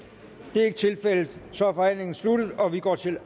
det er ikke tilfældet så er forhandlingen sluttet og vi går til